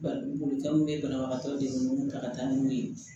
Ba bolifɛnw bɛ banabagatɔ de munnu ta ka taa n'u ye